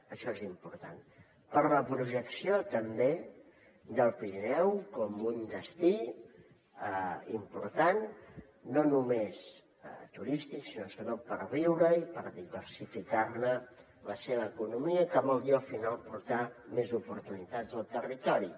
això és important per a la projecció també del pirineu com un destí important no només turístic sinó sobretot per viure hi i per diversificar la seva economia que vol dir al final portar més oportunitats al territori